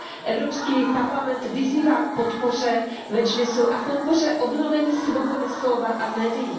Evropský parlament vyzývá k podpoře Medžlisu a k podpoře obnovení svobody slova a médií.